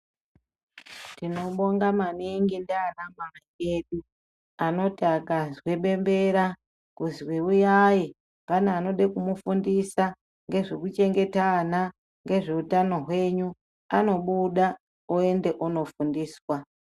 Tinobonga maningi ndiana mai edu anoti akazwe bembera kuzi uyai. Pane anode kumufundisa ngezve kuchengeta ana ngezveutano hwenyu, anobuda oende onofundiswa.